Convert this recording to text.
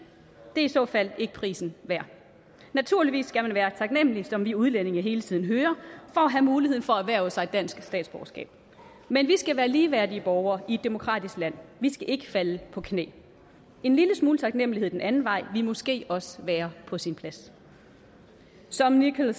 er i så fald ikke prisen værd naturligvis skal man være taknemlig som vi udlændinge hele tiden hører for at have muligheden for at erhverve sig dansk statsborgerskab men vi skal være ligeværdige borgere i et demokratisk land vi skal ikke falde på knæ en lille smule taknemlighed den anden vej ville måske også være på sin plads som nicola